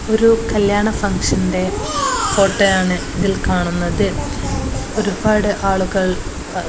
ഒരു കല്യാണ ഫംഗ്ഷൻ്റെ ഫോട്ടോയാണ് ഇതിൽ കാണുന്നത് ഒരുപാട് ആളുകൾ പാ--